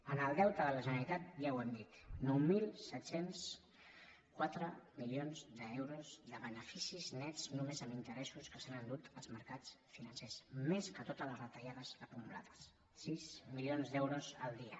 en el deute de la generalitat ja ho hem dit nou mil set cents i quatre milions d’euros de beneficis nets només en interessos que s’han endut els mercats financers més que totes les retallades acumulades sis milions d’euros al dia